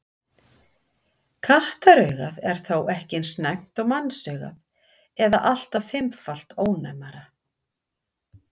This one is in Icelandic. Kattaraugað er þó ekki eins næmt og mannsaugað eða allt að fimmfalt ónæmara.